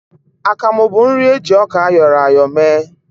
Akamụ bụ nri eji ọka áyọ̀rọ̀ ya áyọ̀ mee